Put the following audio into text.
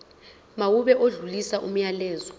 mawube odlulisa umyalezo